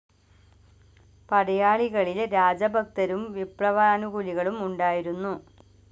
പടയാളികളിൽ രാജഭക്തരും വിപ്ലവാനുകൂലികളും ഉണ്ടായിരുന്നു.